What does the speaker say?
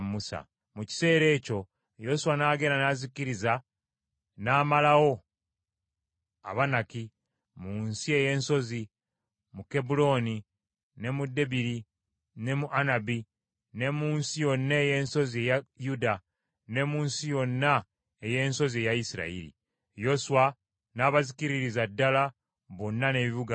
Mu kiseera ekyo Yoswa n’agenda n’azikiriza n’amalawo Abanaki mu nsi ey’ensozi, mu Kebbulooni, ne mu Debiri, ne mu Anabu, ne mu nsi yonna ey’ensozi eya Yuda, ne mu nsi yonna ey’ensozi eya Isirayiri. Yoswa n’abazikiririza ddala, bonna n’ebibuga byabwe.